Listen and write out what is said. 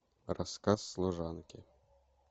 рассказ служанки